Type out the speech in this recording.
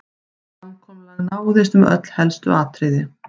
Samkomulag náðist um öll helstu atriði